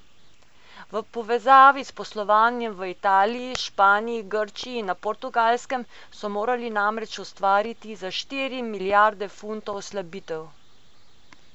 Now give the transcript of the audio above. V povezavi s poslovanjem v Italiji, Španiji, Grčiji in na Portugalskem so morali namreč ustvariti za štiri milijarde funtov slabitev.